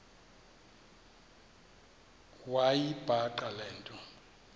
wayibhaqa le nto